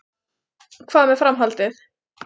Hvað með framhaldið?